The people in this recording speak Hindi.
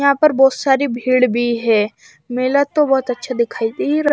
यहाँ पर बहोत सारी भीड़ भी है मेला तो बहोत अच्छा दिखाई दे रहा--